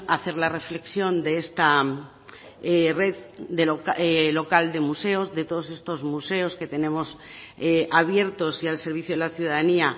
hacer la reflexión de esta red local de museos de todos estos museos que tenemos abiertos y al servicio de la ciudadanía